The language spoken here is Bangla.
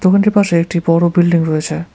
ভবনটির পাশে একটি বড়ো বিল্ডিং রয়েছে।